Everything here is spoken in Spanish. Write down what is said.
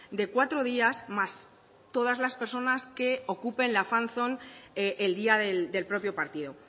de cuatro días más todas las personas que ocupen la fan zone el día del propio partido